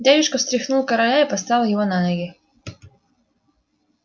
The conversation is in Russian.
дядюшка встряхнул короля и поставил его на ноги